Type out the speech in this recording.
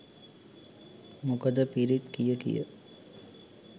මොකද පිරිත් කියකිය